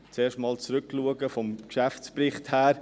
Zuerst einmal zurückschauen, vom Geschäftsbericht her.